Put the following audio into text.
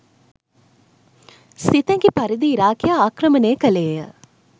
සිතැඟි පරිදී ඉරාකය ආක්‍රමණය කළේය